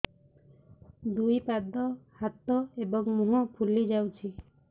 ଦୁଇ ପାଦ ହାତ ଏବଂ ମୁହଁ ଫୁଲି ଯାଉଛି